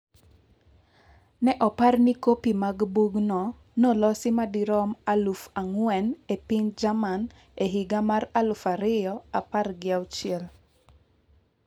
Ne opar ni kopi mag bugno nolosi madirom aluf ang'wen e piny Jerman e higa mar aluf ariyo apar gi auchiel.